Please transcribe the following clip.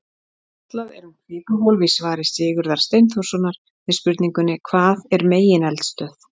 Fjallað er um kvikuhólf í svari Sigurðar Steinþórssonar við spurningunni Hvað er megineldstöð?